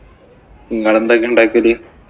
ഇങ്ങള് എന്തൊക്കെയാ ഇണ്ടാക്കല്?